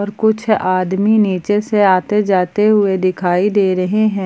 कुछ आदमी नीचे से आते जाते हुए दिखाई दे रहे हैं।